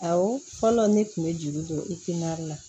Awɔ fɔlɔ ne tun bɛ juru don i kunna